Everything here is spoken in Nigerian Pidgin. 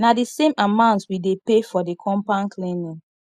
na di same amount we dey pay for di compound cleaning